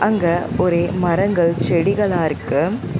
அங்க ஒரே மரங்கள் செடிகளா இருக்கு.